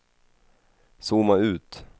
zooma ut